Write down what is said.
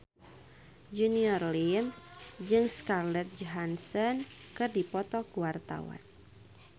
Junior Liem jeung Scarlett Johansson keur dipoto ku wartawan